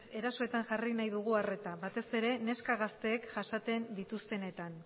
erasoetan jarri nahi dugu arreta batez ere neska gazteek jasaten dituztenetan